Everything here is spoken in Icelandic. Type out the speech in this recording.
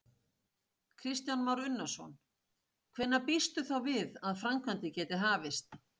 Kristján Már Unnarsson: Hvenær býstu þá við að framkvæmdir geti hafist?